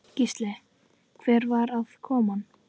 Gísli: Hvernig var aðkoman?